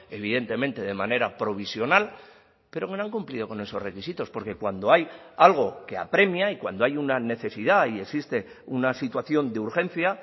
evidentemente de manera provisional pero bueno han cumplido con esos requisitos porque cuando hay algo que apremia y cuando hay una necesidad y existe una situación de urgencia